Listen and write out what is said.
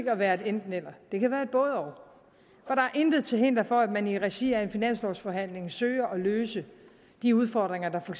at være et enten eller det kan være et både og og der er intet til hinder for at man i regi af en finanslovforhandling søger at løse de udfordringer der for